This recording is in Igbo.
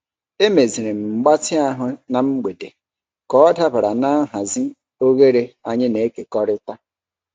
Emeziri m mgbatị ahụ m na mgbede ka ọ dabara na nhazi oghere anyị na-ekekọrịta.